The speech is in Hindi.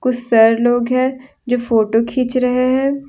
सर लोग है जो फोटो खीच रहे हैं।